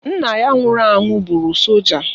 Nna ya nwụrụ anwụ bụrụ solja